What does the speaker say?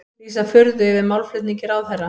Lýsa furðu yfir málflutningi ráðherra